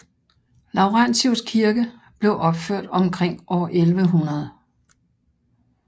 Laurentius kirke blev opført omkring år 1100